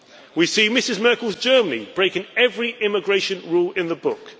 We see Mrs Merkel's Germany breaking every immigration rule in the book.